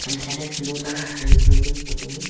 hamkhama khilona hom chu ngan ngoley ee photo ma.